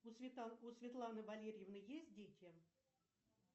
у светланы валерьевны есть дети